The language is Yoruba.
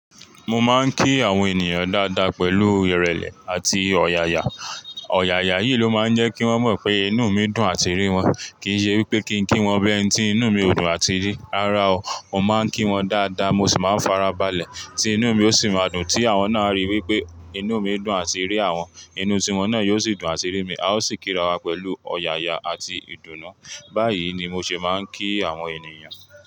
Mo máa ń kí àwọn ènìyàn dáadáa pẹ̀lú ìrẹ̀lẹ̀ àti ọ̀yàyà. Ọ̀yàyà yìí ló máa ń jẹ́ kí wọ́n mọ̀ pé inú mi dùn àti rí wọn. Kì í ṣe wípé kí ń kí wọn bii eni tí inú mi ò dùn àti rí. Rárá o, mo máa ń kí wọn dáadáa mo sì máa ń farabalẹ̀ tí inú mi ó sì máa dùn tí àwọn náà a ríi wípé inú mi dùn làti rí àwọn. Inú tí wọ́n náà yóò sì dùn làti rí mi. A ó sì kí'rawa pẹ̀lú ọ̀yàyà àti ìdùnnú. Báyìí ni mo ṣe máa ń kí àwọn ènìyàn.